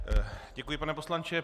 Děkuji, pane poslanče.